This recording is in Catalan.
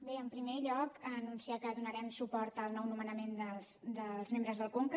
bé en primer lloc anunciar que donarem suport al nou nomenament dels membres del conca